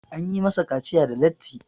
an yi masa kaciya da latti